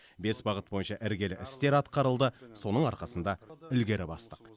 бес бағыт бойынша іргелі істер атқарылды соның арқасында ілгері бастық